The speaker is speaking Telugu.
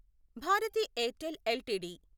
Bharati Airtel LTD